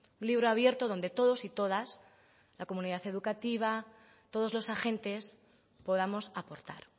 un libro abierto donde todos y todas la comunidad educativa todos los agentes podamos aportar